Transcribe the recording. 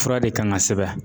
Fura de kan ka sɛbɛn